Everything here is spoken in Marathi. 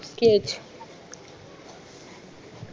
sketch